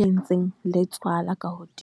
e entseng le tswala ka hodimo.